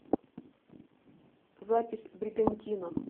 запись бригантина